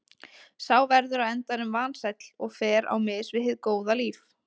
Sá verður á endanum vansæll og fer á mis við hið góða líf.